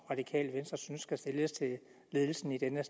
radikale venstre synes der skal stilles til ledelsen i denne